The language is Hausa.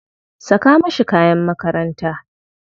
Saka mashi kayan makaranta.